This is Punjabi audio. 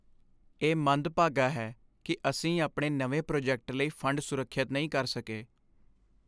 ਇਹ ਮੰਦਭਾਗਾ ਹੈ ਕਿ ਅਸੀਂ ਆਪਣੇ ਨਵੇਂ ਪ੍ਰੋਜੈਕਟ ਲਈ ਫੰਡ ਸੁਰੱਖਿਅਤ ਨਹੀਂ ਕਰ ਸਕੇ।